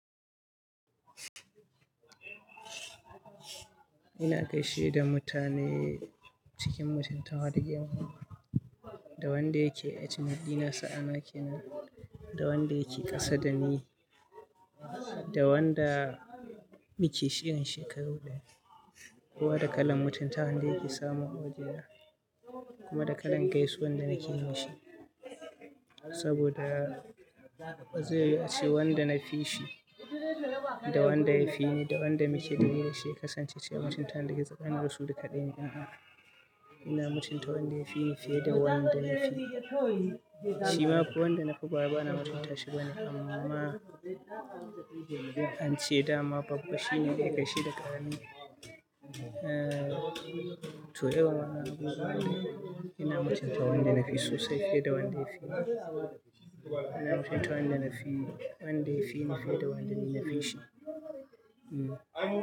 Ina gaishe da mutane cikin mutuntawa da girma ma wa, da wanda yake age mate ɗina, sa'ana kenam, da wanda yake ƙasa da ni, da wanda muke shigan shekaru daya. Kowa da kalan mutuntawa da yake samu a waje na kuma da kalan gaisuwar da nake yi mishi. Saboda zai iya ce wanda na fi shi, da wanda ya fi ni, da wanda muke dumi da shi ya kasance cikin mutunta daga tsakanin da su duk ɗaya ne. Ina mutunta wanda ya fi ni fiye da wanda na fi. Shi ma fa wanda na fi ba wai bana mutunta shi bane amma ance dama babba shi ne zai gaishe da ƙarami. Sauyawan abubuwa ne. Ina mutunta wanda na fi sosai fiye da wanda ya fi ni. Ina mutunta wanda na fi, wanda ya fi ni fiye da wanda ni na fi shi, hmm.